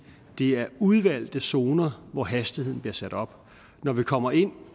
det er i udvalgte zoner hvor hastigheden bliver sat op når vi kommer ind